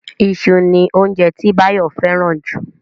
Iṣu ni óunjẹ tí Báyọ̀ fẹ́ràn jù